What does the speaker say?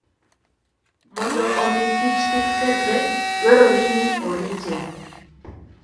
Mondo omi kich kik kethre, dwarore ni orite.